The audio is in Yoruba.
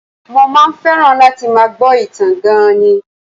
Mo máa ń fẹ́ràn láti máa gbọ́ ìtàn gan-an ni